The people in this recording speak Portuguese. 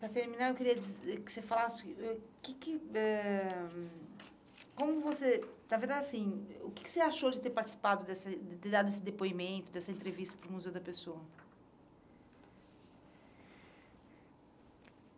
Para terminar, eu queria dizer, que você falasse, ãh... O que que ãh como você... Na verdade, assim, o que que você achou de ter participado, dessa de ter dado esse depoimento, dessa entrevista para o Museu da Pessoa?